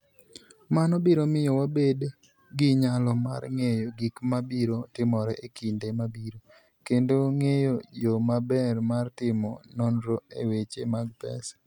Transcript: Mano biro miyo wabed gi nyalo mar ng'eyo gik ma biro timore e kinde mabiro, kendo ng'eyo yo maber mar timo nonro e weche mag pesa.